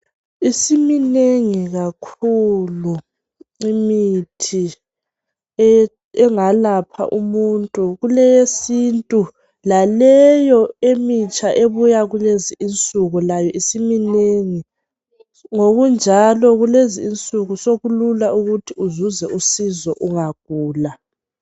Isiminengi kakhulu imithi engalapha umuntu, kuleyesintu laleyo emitsha ebuya kulezi insuku layo isiminengi. Ngokunjalo kulezi insuku lokulula ukuthi uzuze usizo ungagula.